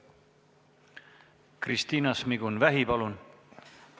Kristina Šmigun-Vähi, palun!